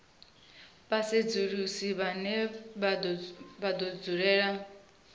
vhasedzulusi vhane vha do dzulela